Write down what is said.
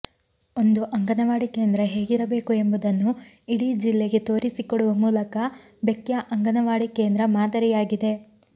ಒಂದು ಅಂಗನವಾಡಿ ಕೇಂದ್ರ ಹೇಗಿರಬೇಕು ಎಂಬುದನ್ನು ಇಡೀ ಜಿಲ್ಲೆಗೆ ತೋರಿಸಿಕೊಡುವ ಮೂಲಕ ಬೆಕ್ಯಾ ಅಂಗನವಾಡಿ ಕೇಂದ್ರ ಮಾದರಿಯಾಗಿದೆ